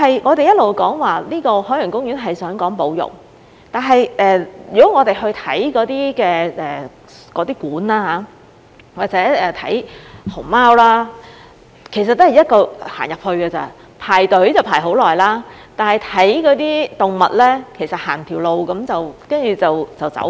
我們一直說海洋公園是講保育，但我們去參觀那些展館或者看熊貓，其實只是一進一出而已，排隊要排很長時間，但看動物其實走完一條路便要離開了。